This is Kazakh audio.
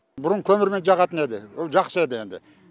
бұрын көмірмен жағатын еді ол жақсы еді енді